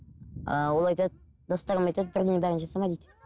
ааа ол айтады достарым айтады бірден бәрін жасама дейді